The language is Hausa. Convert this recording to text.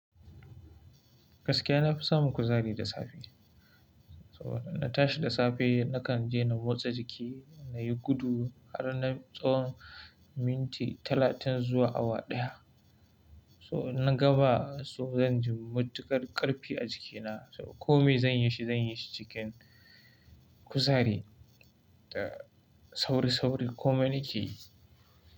Gaskiya na fi samun kuzari da safe. So na tashi da safe, na kan je na motsa jiki, na yi gudu har na tsawon minti talatin zuwa awa ɗaya. So na gaba so zan ji matuƙar ƙarfi a jikina. So kome zan yi shi, zan yi shi cikin kuzari da sauri-sauri, kome nake yi.